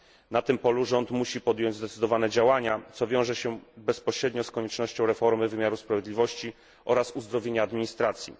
Na tym polu rząd musi podjąć zdecydowane działania, co wiąże się bezpośrednio z koniecznością reformy wymiaru sprawiedliwości oraz uzdrowienia administracji.